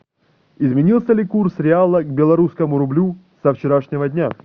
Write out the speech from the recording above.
изменился ли курс реала к белорусскому рублю со вчерашнего дня